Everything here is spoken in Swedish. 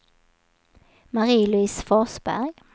Marie-Louise Forsberg